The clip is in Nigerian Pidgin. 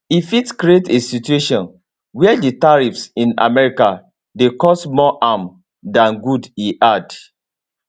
e fit create a situation wia di tariffs in america dey cause more harm dan good e add